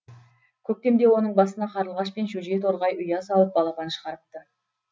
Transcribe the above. көктемде оның басына қарлығаш пен шөже торғай ұя салып балапан шығарыпты